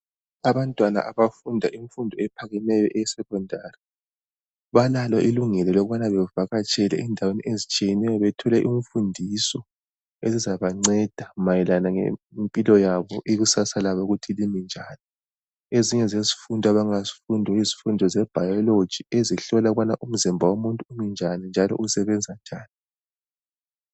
Abantwana abafunda imfundo ephakemeyo e Secondary balalo ilungelo lokubana bevakatshele endaweni ezitshiyeneyo bethole imfundiso ezizabanceda mayelana lempilo yabo, ikusasa labo ukuthi limi njani. Ezinye zesifundo abangazifunda yizifundo ze Biology ezihlola ukubana umzimba womuntu unjani njalo usebenza njani.